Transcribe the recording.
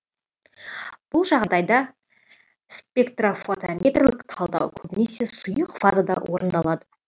бұл жағдайда спектрофотометрлік талдау көбінесе сұйық фазада орындалады